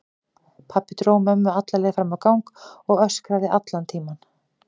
Pabbi dró mömmu alla leið fram á gang og öskraði allan tímann.